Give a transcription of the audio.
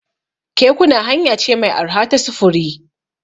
Kekuna hanya ce mai arha ta sufuri.